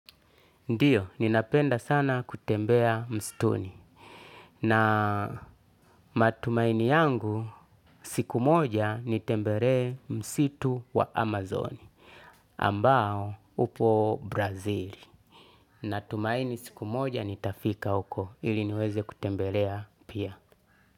Ndiyo ninapenda sana kutembea mstuni na matumaini yangu siku moja nitembelee msitu wa amazon ambao upo brazili na tumaini siku moja nitafika huko ili niweze kutembelea pia.